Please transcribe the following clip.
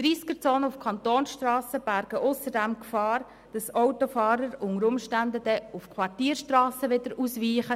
Tempo-30-Zonen auf Kantonsstrassen bergen ausserdem die Gefahr, dass Autofahrer unter Umständen auf Quartierstrassen ausweichen.